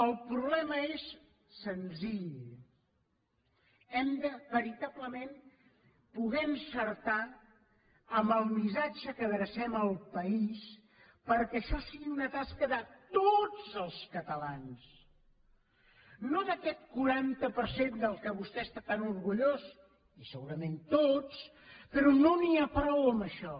el problema és senzill hem de veritablement poder encertar amb el missatge que adrecem al país perquè això sigui una tasca de tots els catalans no d’aquest quaranta per cent del qual vostè està tan orgullós i segurament tots però no n’hi ha prou amb això